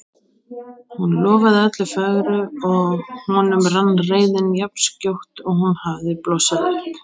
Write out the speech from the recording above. Hún lofaði öllu fögru og honum rann reiðin jafn skjótt og hún hafði blossað upp.